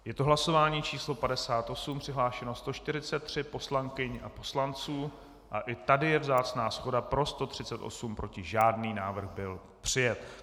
Je to hlasování číslo 58, přihlášeno 143 poslankyň a poslanců, a i tady je vzácná shoda, pro 138, proti žádný, návrh byl přijat.